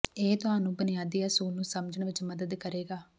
ਇਹ ਤੁਹਾਨੂੰ ਬੁਨਿਆਦੀ ਅਸੂਲ ਨੂੰ ਸਮਝਣ ਵਿੱਚ ਮਦਦ ਕਰੇਗਾ